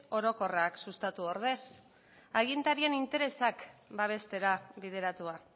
orokorrak sustatu ordez agintarien interesak babestera bideratua